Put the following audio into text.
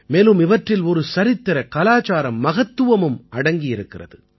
மேலும் இவற்றில் ஒரு சரித்திரகலாச்சார மகத்துவமும் அடங்கி இருக்கிறது